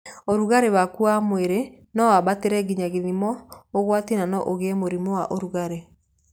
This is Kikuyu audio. Ũrugarĩ waku wa mwĩrĩ no wambatĩre nginya gĩthimo ũgwati na no ũgĩe mũrimũ wa ũrugarĩ.